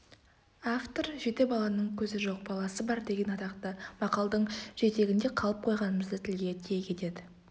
автор жеті баланың көзі жоқ баласы бар деген атақты мақалдың жетегінде қалып қойғанымызды тілге тиек етеді